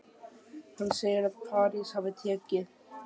Hann segir að París hafi tekið